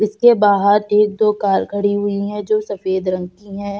इसके बाहर एक दो कार खड़ी हुई हैं जो सफ़ेद रंग की है।